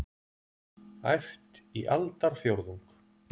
Æft í aldarfjórðung